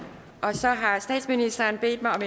så har statsministeren bedt mig om